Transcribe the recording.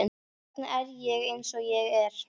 Hvers vegna er ég eins og ég er?